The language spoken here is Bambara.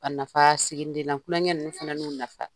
A nafa siginiden n'an klonkɛ ninnu fana n'u nafa.